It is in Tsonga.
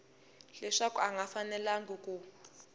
leswaku a nga fanelangi ku